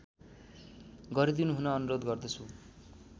गरिदिनुहुन अनुरोध गर्दछु